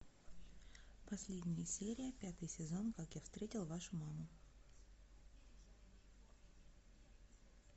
последняя серия пятый сезон как я встретил вашу маму